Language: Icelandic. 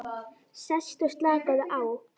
Sestu og slakaðu á.